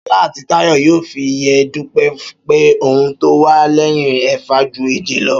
Ṣọlá àti Táyọ̀ yóò fi yé Dúpẹ́ pé ohun tó wà lẹ́yìn ẹ̀fà ju èje lọ